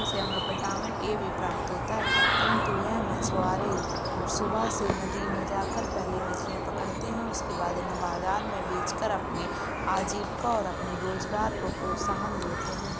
इनसे हमें vitamin A भी प्राप्त होता है परंतु यह मछवारे सुबह से नदी में जाकर पहले मछलियां पकड़ते हैं। उसके बाद इन्हें बाजार में बेचकर अपनी आजीवका और अपने रोजगार को प्रोत्साहन देते हैं।